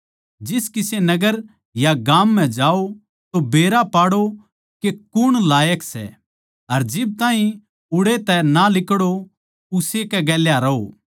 जिस किसे नगर या गाम म्ह जाओ तो बेरा पाड़ौ के कुण लायक सै अर जिब ताहीं उड़ै तै ना लिकड़ो उस्से के गेल्या रहों